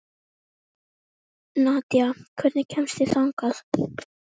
Nadja, hvernig kemst ég þangað?